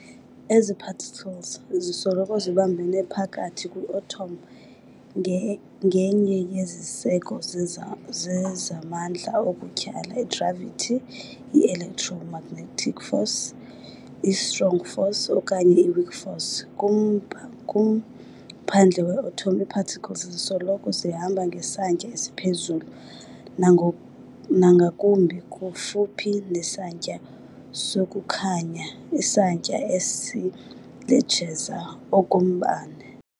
Ezi-particles zisoloko zibambene phakathi kwi-atom ngenye yeziseko zezamandla okutyhala, i-gravity, i-electromagnetic force, i-strong force, okanye i-weak force. Kumphandle we-atom ii-particles zisoloko zihamba ngesantya esiphezulu nangakumbi, kufuphi nesantya sokukhanya isantya esiletsheza okombane.